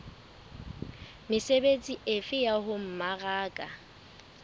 mesebetsi efe ya ho mmaraka